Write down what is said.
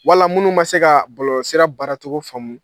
Wala munnu ma se kaa bɔlɔlɔsira baaracogo faamu